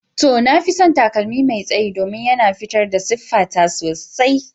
To, na fi son takalmi mai tsayi domin yana fitar da siffata sosai.